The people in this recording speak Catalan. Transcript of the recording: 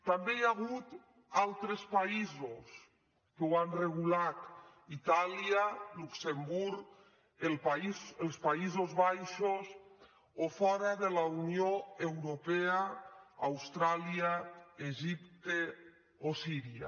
també hi ha hagut altres països que ho han regulat itàlia luxemburg els països baixos o fora de la unió europea austràlia egipte o síria